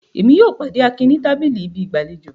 Émi yóò pàde Akin ni tabili ibi igbalejo